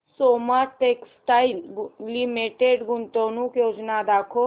Soma textile limited गुंतवणूक योजना दाखव